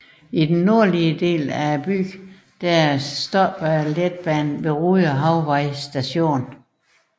I den nordlige del af byen stopper letbanen ved Rude Havvej Station